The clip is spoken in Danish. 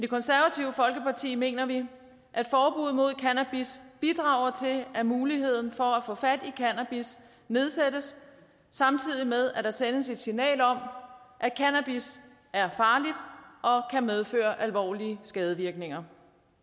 konservative folkeparti mener vi at forbuddet mod cannabis bidrager til at muligheden for at få fat i cannabis nedsættes samtidig med at der sendes et signal om at cannabis er farligt og kan medføre alvorlige skadevirkninger